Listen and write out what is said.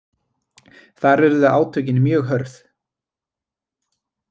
Þar urðu átökin mjög hörð